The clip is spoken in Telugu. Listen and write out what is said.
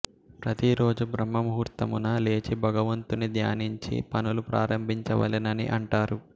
ప్రతిరోజు బ్రహ్మముహుర్తమున లేచి భగవంతుని ధ్యానించి పనులు ప్రారంభించవలెనని అంటారు